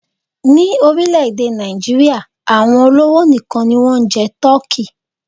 Ní orílẹ̀-èdè Nàìjíríà, àwọn olówó nìkan ni wọ́n ń jẹ tọ́kì.